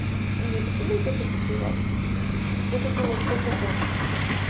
то мне такие ну приходите завтра то есть это было по знакомству